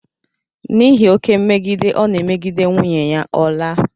N'ihi oké mmegide ọ na-emegide nwunye ya, ọ laa.